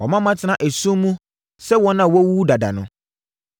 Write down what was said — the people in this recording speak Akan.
Wama matena esum mu sɛ wɔn a wɔawuwu dada no.